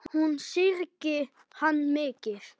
Hún syrgði hann mikið.